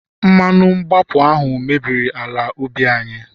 mmanu mgbapu ahu mebiri ala ubi anyi